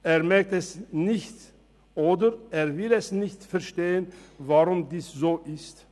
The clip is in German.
Er merkt es nicht, oder er will nicht verstehen, weshalb dem so ist.